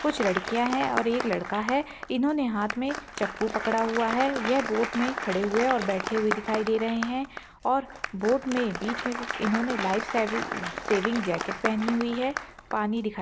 कुछ लड़किया है और एक लड़का है इन्होंने हाथ मे चप्पू पकड़ा हुआ है ये बोट मे खड़े हुए और बैठे हुए दिखाई दे रहे है और बोट मे बीच मे इन्होंने लाइफ सेवि सेविंग जैकिट पहनी हुई है पानी दिखाई--